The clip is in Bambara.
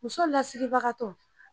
Muso lasiribaga tɔ